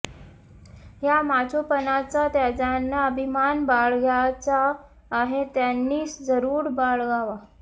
ह्या माचोपणाचा ज्यांना अभिमान बाळगायचा आहे त्यांनी जरूर बाळगावा